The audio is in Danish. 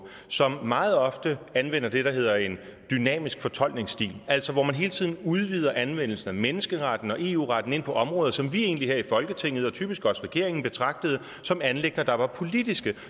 som meget ofte anvender det der hedder en dynamisk fortolkningsstil altså hvor man hele tiden udvider anvendelsen af menneskeretten og eu retten ind på områder som vi egentlig her i folketinget og typisk også regeringen betragtede som anliggender der var politiske